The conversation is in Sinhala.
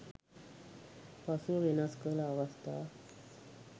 පසුව වෙනස් කළ අවස්ථා